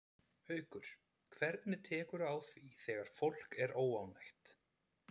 Haukur: Hvernig tekurðu á því þegar fólk er óánægt?